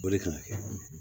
O de kan ka kɛ